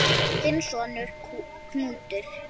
Þinn sonur, Knútur.